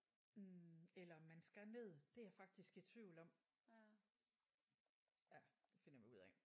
Hm eller om man skal ned. Det er jeg faktisk i tvivl om ja det finder vi ud af